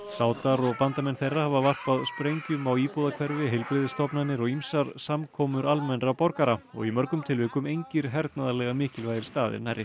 sádar og bandamenn þeirra hafa varpað sprengjum á íbúðahverfi heilbrigðisstofnanir og ýmsar samkomur almennra borgara og í mörgum tilvikum engir hernaðarlega mikilvægir staðir nærri